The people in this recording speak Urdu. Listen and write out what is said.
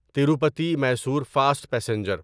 Tirupati Mysore fast passenger